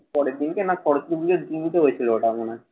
পরের দিনকে না বলছিল ওটা মনে হয়।